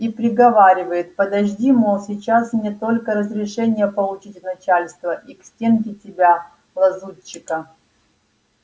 и приговаривает подожди мол сейчас мне только разрешение получить от начальства и к стенке тебя лазутчика